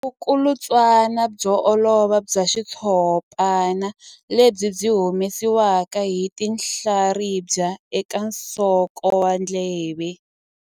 Vulukulutswana byo olova bya xitshopana lebyi byi humesiwaka hi tinhlaribya eka nsoko wa ndleve.